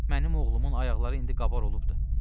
Mənim oğlumun ayaqları indi qabar olubdur.